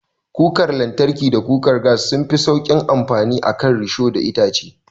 Kukar lantarki da kukar gas sunfi sauƙin amfani a kan risho da itace.